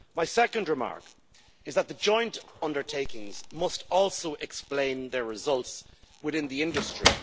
My second remark is that the joint undertakings must also explain their results within the industry.